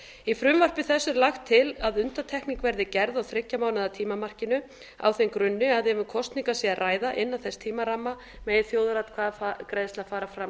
í frumvarpi þessu er lagt til að undantekning verði gerð á þriggja mánaða tímamarkinu á þeim grunni að ef um kosningar sé að ræða innan þess tímaramma megi þjóðaratkvæðagreiðsla fara fram